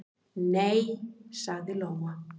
"""Nei, sagði Lóa."""